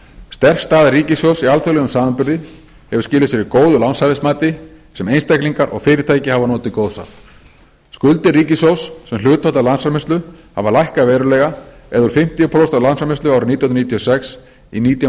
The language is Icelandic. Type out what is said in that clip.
sterk staða ríkissjóðs í alþjóðlegum samanburði hefur skilað sér í góðu lánshæfismati sem einstaklingar og fyrirtæki hafa notið góðs af skuldir ríkissjóðs sem hlutfall af landsframleiðslu hafa lækkað verulega eða úr fimmtíu prósent af landsframleiðslu árið nítján hundruð níutíu og sex í nítján